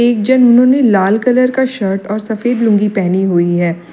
एक जनो नें लाल कलर का शर्ट और सफेद लुंगी पहनी हुई है।